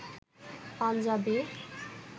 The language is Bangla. পাঞ্জাবী